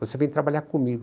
Você vem trabalhar comigo?